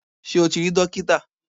Sé o ti rí dókítà